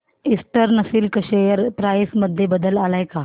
eastern silk share price मध्ये बदल आलाय का